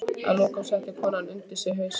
Að lokum setti konan undir sig hausinn.